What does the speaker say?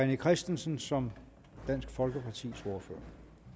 rené christensen som dansk folkepartis ordfører